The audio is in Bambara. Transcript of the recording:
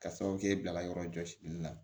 Ka sababu kɛ e bila yɔrɔ jɔsili la